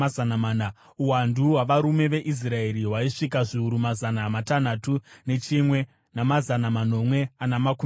Uwandu hwavarume veIsraeri hwaisvika zviuru mazana matanhatu nechimwe, namazana manomwe ana makumi matatu.